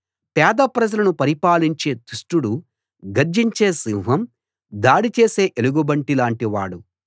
పేద ప్రజలను పరిపాలించే దుష్టుడు గర్జించే సింహం దాడి చేసే ఎలుగుబంటి లాంటి వాడు